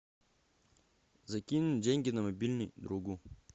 закинь деньги на мобильный другу